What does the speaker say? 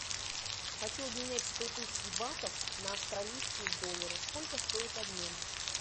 хочу обменять сто тысяч батов на австралийские доллары сколько стоит обмен